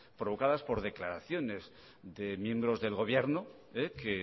provocadas por declaraciones de miembros del gobierno que